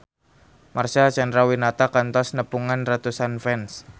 Marcel Chandrawinata kantos nepungan ratusan fans